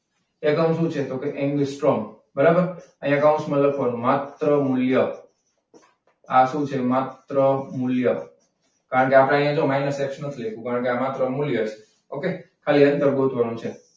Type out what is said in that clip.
એકમ શું છે? તો કે એંગસ્ટ્રોમ. બરાબર અહીંયા કૌંસમાં લખવાનું માત્ર મૂલ્ય. આ શું છે? માત્ર મૂલ્ય. કારણ કે આપણે અહીંયા જો માઇનસ એક્સ નથી લીધું કારણ કે આ માત્ર મૂલ્ય છે. okay ખાલી અંતર ગોતવાનું છે.